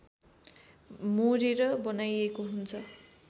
मोरेर बनाइएको हुन्छ